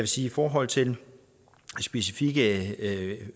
sige i forhold til specifikke